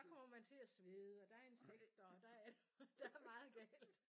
Der kommer man til at svede og der er insekter og der er alt muligt der er meget galt